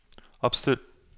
opstil